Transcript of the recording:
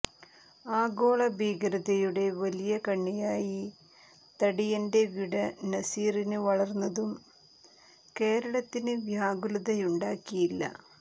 ആഗോള ഭീകരതയുടെ വലിയ കണ്ണിയായി തടിയന്റവിട നസീര് വളര്ന്നതും കേരളത്തിന് വ്യാകുതലയുണ്ടാക്കിയില്ല